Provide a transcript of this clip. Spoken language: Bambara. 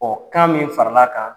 Ɔ kan min farala kan